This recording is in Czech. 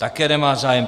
Také nemá zájem.